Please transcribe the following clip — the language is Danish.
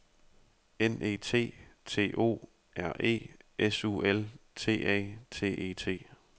N E T T O R E S U L T A T E T